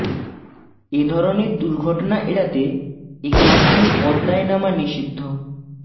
এ ধরনের দুর্ঘটনা এড়াতে এ ঘাট দিয়ে পদ্মায় নামা নিষিদ্ধ